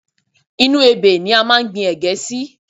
Inú ebè ni a máa ń gbi ẹ̀gẹ́ sí